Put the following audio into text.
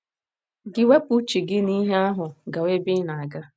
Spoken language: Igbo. Gị ewepụ uche gị n’ihe ahụ gawa ebe ị na - aga.